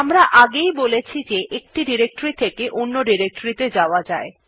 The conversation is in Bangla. আমরা আগেই বলেছি যে আমরা একটি ডিরেক্টরী থেকে অন্য ত়ে যেতে পারি